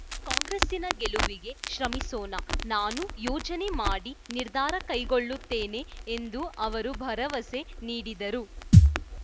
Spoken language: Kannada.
ಕಾಂಗ್ರೆಸ್ಸಿನ ಗೆಲುವಿಗೆ ಶ್ರಮಿಸೋಣ ನಾನೂ ಯೋಚನೆ ಮಾಡಿ ನಿರ್ಧಾರ ಕೈಗೊಳ್ಳುತ್ತೇನೆ ಎಂದು ಅವರು ಭರವಸೆ ನೀಡಿದರು